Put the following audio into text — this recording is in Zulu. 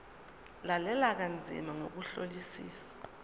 lalela kanzima ngokuhlolisisa